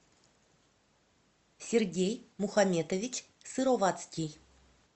сергей мухаметович сыровацкий